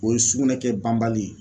O ye sugunɛ kɛ banbali ye